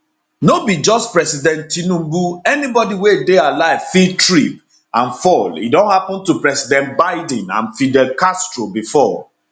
no be just president tinubu anybodi wey dey alive fit trip and fall e don happun to president biden and fidel castro bifor